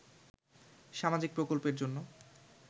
সামাজিক প্রকল্পের জন্য